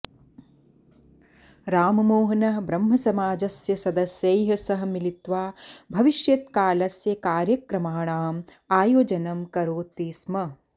राममोहनः ब्रह्मसमाजस्य सदस्यैः सह मिलित्वा भविष्यत्कालस्य कार्यक्रमाणाम् आयोजनं करोति स्म